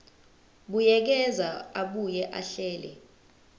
buyekeza abuye ahlele